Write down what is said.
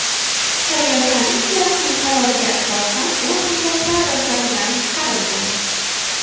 Saylov komissiyasining qaroriga asosan u nomzodlar ro‘yxatidan chiqarilgan.